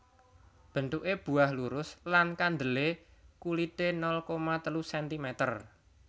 Bentuke buah lurus lan kandele kulite nol koma telu sentimeter